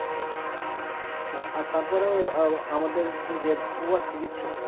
আর তারপরও আমাদের যে ভুয়া চিকিৎসক